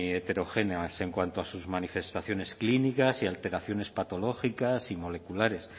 heterogéneas en cuanto a sus manifestaciones clínicas y alteraciones patológicas y moleculares